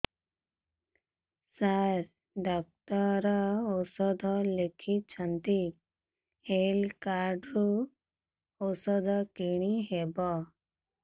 ସାର doctor ଔଷଧ ଲେଖିଛନ୍ତି health card ରୁ ଔଷଧ କିଣି ହେବ